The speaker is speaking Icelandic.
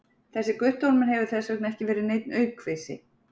Þessi Guttormur hefur þess vegna ekki verið neinn aukvisi!